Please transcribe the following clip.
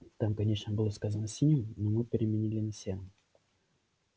там конечно было сказано синим но мы переменили на серым